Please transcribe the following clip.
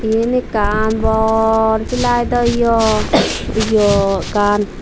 eyan ekan bor flightdo yo yo gan.